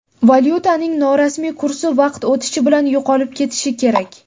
Valyutaning norasmiy kursi vaqt o‘tishi bilan yo‘qolib ketishi kerak.